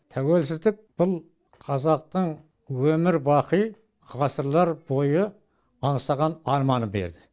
тәуелсіздік бұл қазақтың өмір бақи ғасырлар бойы аңсаған арманын берді